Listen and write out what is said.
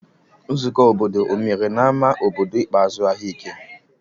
Nzukọ obodo o mere na ama obodo ikpeazụ ahia eke?